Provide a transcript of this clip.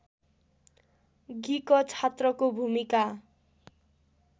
गिक छात्रको भूमिका